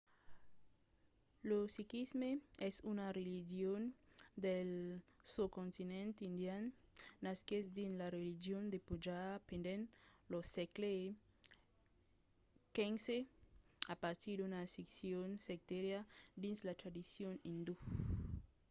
lo sikhisme es una religion del soscontinent indian. nasquèt dins la region de punjab pendent lo sègle xv a partir d'una scission sectària dins la tradicion indó